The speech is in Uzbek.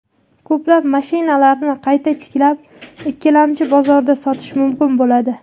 Ko‘plab mashinlarni qayta tiklab, ikkilamchi bozorda sotish mumkin bo‘ladi.